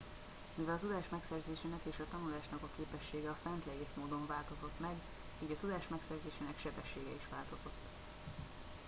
mivel a tudás megszerzésének és a tanulásnak a képessége a fent leírt módon változott meg így a tudás megszerzésének sebessége is változott